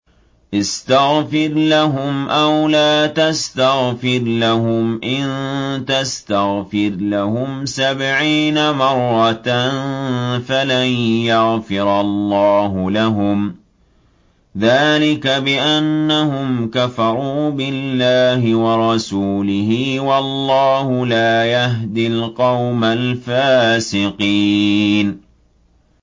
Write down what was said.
اسْتَغْفِرْ لَهُمْ أَوْ لَا تَسْتَغْفِرْ لَهُمْ إِن تَسْتَغْفِرْ لَهُمْ سَبْعِينَ مَرَّةً فَلَن يَغْفِرَ اللَّهُ لَهُمْ ۚ ذَٰلِكَ بِأَنَّهُمْ كَفَرُوا بِاللَّهِ وَرَسُولِهِ ۗ وَاللَّهُ لَا يَهْدِي الْقَوْمَ الْفَاسِقِينَ